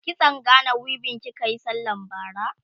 kitson Gana weaving kikayi sallan bara?